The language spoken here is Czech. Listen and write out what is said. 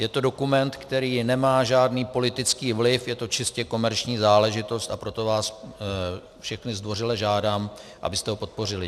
Je to dokument, který nemá žádný politický vliv, je to čistě komerční záležitost, a proto vás všechny zdvořile žádám, abyste ho podpořili.